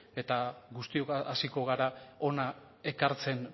eta guztiok hasiko gara hona ekartzen